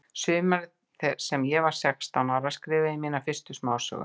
Sumarið sem ég var sextán ára skrifaði ég mína fyrstu smásögu.